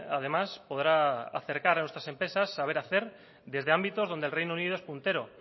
además podrá acercar a nuestras empresas saber hacer desde ámbitos donde el reino unido es puntero